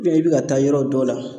i bɛ ka taa yɔrɔ dɔ la